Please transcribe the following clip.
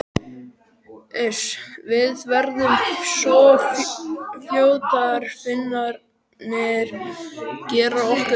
Uss, við verðum svo fljótar, Finnarnir gera okkur ekkert.